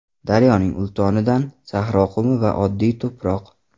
Daryoning ultonidan, sahro qumi va oddiy to‘proq.